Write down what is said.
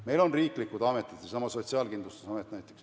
Meil on olemas riiklikud ametid, näiteks seesama Sotsiaalkindlustusamet.